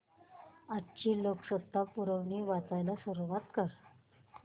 आजची लोकसत्ता पुरवणी वाचायला सुरुवात कर